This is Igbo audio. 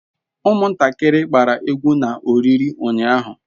Umuntakiri gbara egwu na oriri unyahu